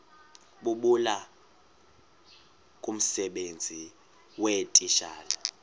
bulula kumsebenzi weetitshala